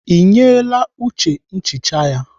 Ị nyeela Uche nchicha ya?